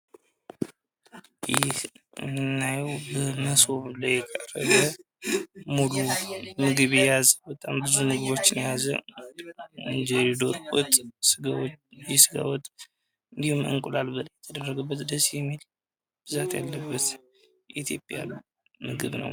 ይህ ምስሉ ላይ የምናየው ብዙ ምግቦሽ የያዘ እንጀራ፣ ወጥ፣ የስጋ ወጥ፣ የእንቁላል በላይ የተደረገበት ደስ የሚል ብዛት ያለበት የኢትዮጵያ ምግብ ነው።